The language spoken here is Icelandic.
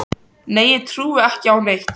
Nei ég trúði ekki á neitt.